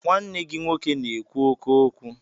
Nwanne gị nwoke na-ekwu oké okwu.